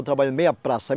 Eu trabalho meia praça.